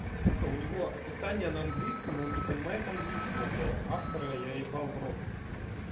сука у него описание на английском и он не понимает английского блять автора я ебал в рот